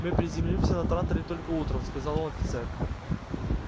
мы приземлимся на транторе только утром сказал офицер